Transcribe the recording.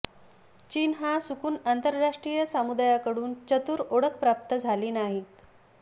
चीन हा सुकुन आंतरराष्ट्रीय समुदायाकडून चतुर ओळख प्राप्त झाली नाहीत